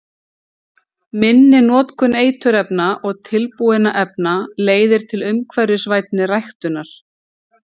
Minni notkun eiturefna og tilbúinna efna leiðir til umhverfisvænni ræktunar.